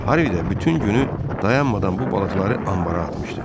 Harvi də bütün günü dayanmadan bu balıqları anbata atmışdı.